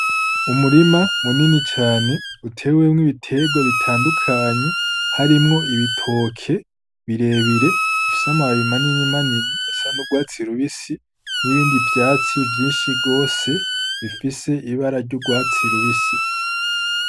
Umurima munini cane utewemwo ibitegwa bitandukanye harimwo ibitoke birebire bifise amababi manini manini asa n'urwatsi rubisi n'ibindi vyatsi vyinshi gose bifise ibara ry'urwatsi rubisi.